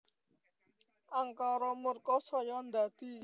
Angkara murka saya ndadi